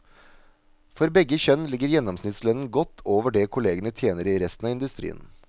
For begge kjønn ligger gjennomsnittslønnen godt over det kollegene tjener i resten av industrien.